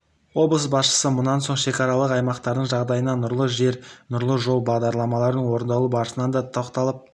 облыс басшысы мұнан соң шекаралық аймақтардың жағдайына нұрлы жер нұрлы жол бағдарламаларының орындалу барысына да тоқталып